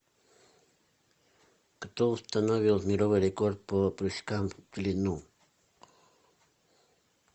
кто установил мировой рекорд по прыжкам в длину